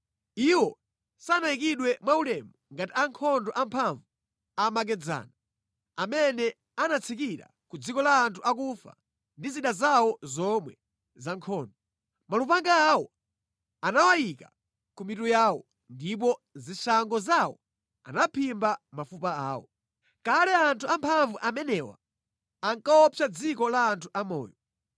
Iwo sanayikidwe mwaulemu ngati ankhondo amphamvu amakedzana, amene anatsikira ku dziko la anthu akufa ndi zida zawo zomwe za nkhondo. Malupanga awo anawayika ku mitu yawo, ndipo zishango zawo anaphimba mafupa awo. Kale anthu amphamvu amenewa ankaopsa dziko la anthu amoyo.